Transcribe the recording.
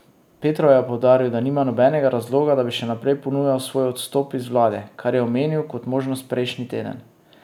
Petrov je poudaril, da nima nobenega razloga, da bi še naprej ponujal svoj odstop iz vlade, kar je omenil kot možnost prejšnji teden.